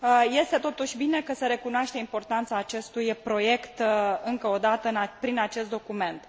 Este, totuși, bine că se recunoaște importanța acestui proiect, încă o dată, prin acest document.